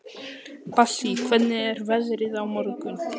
Bassí, hvernig er veðrið á morgun?